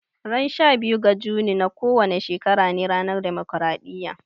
Ran sha biyu ga Juni na kowane shekara ne ranar demokaraɗiya